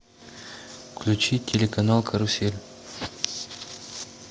включи телеканал карусель